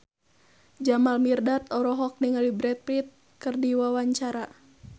Jamal Mirdad olohok ningali Brad Pitt keur diwawancara